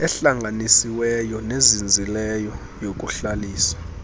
ehlanganisiweyo nezinzileyo yokuhlalisa